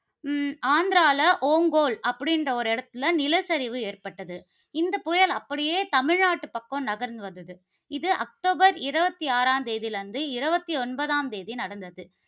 ஹம் ஆந்திரால ஓங்கோல் அப்படிங்கிற ஒரு இடத்தில நிலச்சரிவு ஏற்பட்டது. இந்தப் புயல் அப்படியே தமிழ்நாட்டு பக்கம் நகர்ந்து வந்தது, இது அக்டோபர் இருபத்தி ஆறாம் தேதியிலிருந்து, இருபத்தி ஒன்பதாம் தேதி நடந்தது